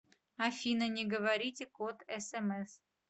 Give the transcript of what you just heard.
афина не говорите код смс